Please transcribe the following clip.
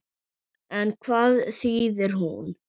En hvað þýðir hún?